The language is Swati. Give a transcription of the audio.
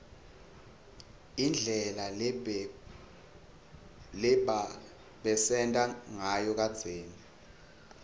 indlela lebabesenta nsayo kadzeni